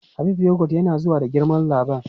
Habib yogot yana zuwa da girma dabam.